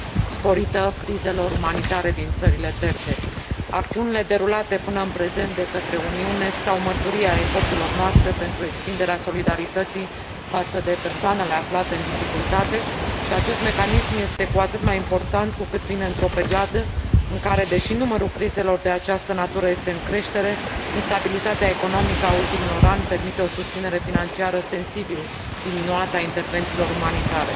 sporită crizelor umanitare din țările terțe. Acțiunile derulate pînă în prezent de către Uniune stau mărturie a eforturilor noastre pentru extinderea solidarității față de persoanele aflate în dificultate și acest mecanism este cu atât mai important cu cât vine într o perioadă în care, deși numărul crizelor de această natură este în creștere, instabilitatea economică a ultimilor ani permite o susținere financiară sensibil diminuată a intervențiilor umanitare.